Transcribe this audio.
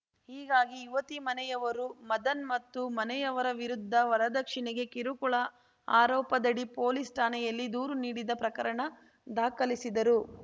ಹೀಗಾಗಿ ಯುವತಿ ಮನೆಯವರು ಮದನ್‌ ಮತ್ತು ಮನೆಯವರ ವಿರುದ್ಧ ವರದಕ್ಷಿಣೆಗೆ ಕಿರುಕುಳ ಆರೋಪದಡಿ ಪೊಲೀಸ್‌ ಠಾಣೆಯಲ್ಲಿ ದೂರು ನೀಡಿದ ಪ್ರಕರಣ ದಾಖಲಿಸಿದರು